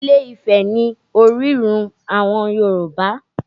Ilé-Ifẹ̀ ni orírun àwọn Yorùbá